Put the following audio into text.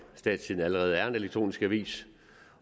statstidende allerede er en elektronisk avis